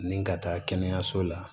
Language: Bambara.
Nin ka taa kɛnɛyaso la